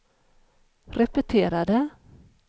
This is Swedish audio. repetera det